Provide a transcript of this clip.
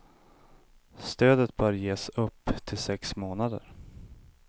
Stödet bör ges upp till sex månader.